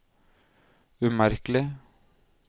umerkelig